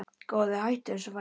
Góði hættu þessu væli!